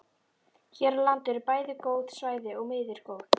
Hér á landi eru bæði góð svæði og miður góð.